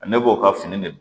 Ne b'o ka fini de dun